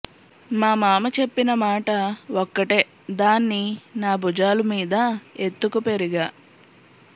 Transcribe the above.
మా మామ చెప్పిన మాట ఒక్కటే దాన్ని నా భుజాలు మీద ఎత్తుకు పెరిగా